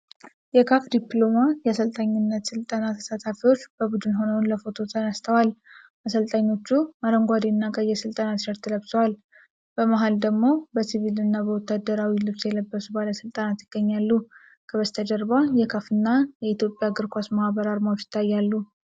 የካፍ ዲፕሎማ የአሰልጣኝነት ሥልጠና ተሳታፊዎች በቡድን ሆነው ለፎቶ ተነስተዋል። አሰልጣኞቹ አረንጓዴና ቀይ የሥልጠና ቲሸርት ለብሰዋል። በመሃል ደግሞ በሲቪልና በወታደራዊ ልብስ የለበሱ ባለሥልጣናት ይገኛሉ። ከበስተጀርባ የካፍ እና የኢትዮጵያ እግር ኳስ ማህበር ዓርማዎች ይታያሉ።